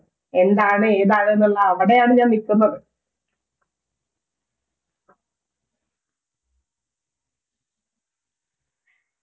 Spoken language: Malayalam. എന്താണ് ഏതാണ് എന്നുള്ള അവിടെയാണ് ഞാൻ നിൽക്കുന്നത്